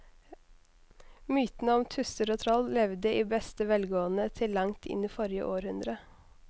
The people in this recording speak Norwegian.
Mytene om tusser og troll levde i beste velgående til langt inn i forrige århundre.